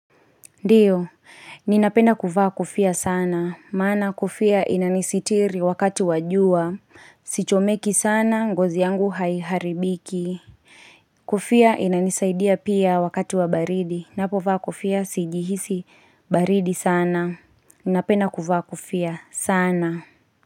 Ndiyo, ninapenda kuvaa kofia sana. Maana kofia inanisitiri wakati wa jua. Sichomeki sana, ngozi yangu haiharibiki. Kofia inani saidia pia wakati wa baridi. Napovaa kofia sijihisi baridi sana. Ninapenda kuvaa kofia sana.